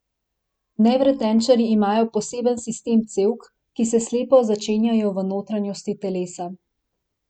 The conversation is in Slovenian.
Nevretenčarji imajo poseben sistem cevk, ki se slepo začenjajo v notranjosti telesa.